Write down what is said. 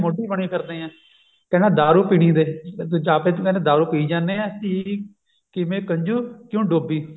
ਮੋਢੀ ਬਣੀ ਫਿਰਦੇ ਆਂ ਕਹਿੰਦਾ ਦਾਰੂ ਪੀਣੀ ਦੇ ਆਪੇ ਤਾਂ ਕਹਿੰਦੇ ਦਾਰੂ ਪਈ ਜਾਂਦੇ ਆਂ ਕਿਵੇਂ ਕੰਜੂ ਕਿਉ ਡੋਬੀ